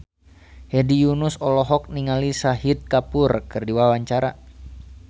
Hedi Yunus olohok ningali Shahid Kapoor keur diwawancara